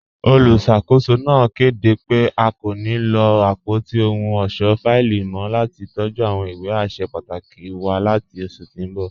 Olúṣakòsò náà kẹdé pẹ̀ à kò ní lọ apọ̀tí òhùn ọṣọ́ fáìlì mọ̀ lati tọ̀jú awọn ìwé àṣẹ pàtàkì wà láti oṣù tí n bọ.